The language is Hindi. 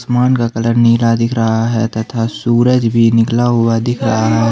आसमान का कलर नीला दिख रहा हैं तथा सूरज भी निकला हुआ दिख रहा है।